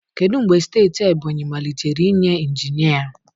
Kedu mgbe steeti Ebonyị malitere inye injinia?